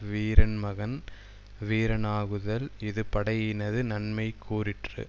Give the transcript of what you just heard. வீரன்மகன் வீரனாகுதல் இது படையினது நன்மைகூறிற்று